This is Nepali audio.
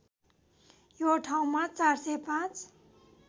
यो ठाउँमा ४०५